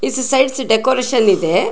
Ice sides decoration ಇದೆ.